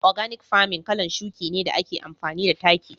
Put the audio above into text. " organic farming' kalan shuki ne da ake amfani da taki.